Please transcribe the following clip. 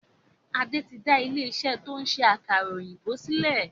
Adé tí n da ilé iṣẹ́ to ń ṣe àkàrà òyìnbó sílẹ̀.